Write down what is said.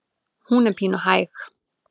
Hún er pínu hæg.